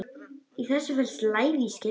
Í þessu felst lævís gildra.